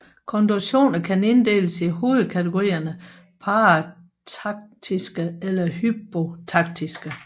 Konjunktioner kan inddeles i hovedkategorierne parataktiske eller hypotaktiske